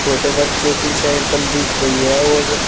छोटे बच्चों की साइकिल दिख रही है और--